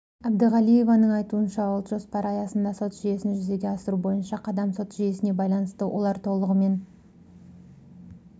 әбдіғалиеваның айтуынша ұлт жоспары аясында сот жүйесін жүзеге асыру бойынша қадам сот жүйесіне байланысты олар толығымен